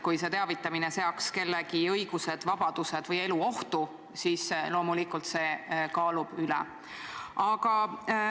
Kui see teavitamine seaks kellegi õigused, vabadused või elu ohtu, siis loomulikult see kaalub üles.